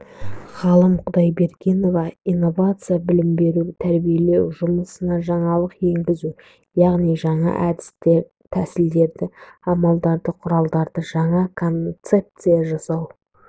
ғалым құдайбергенова инновация білім беру тәрбиелеу жұмысына жаңалық енгізу яғни жаңа әд тәсілдерді амалдарды құралдарды жаңа концепция жасап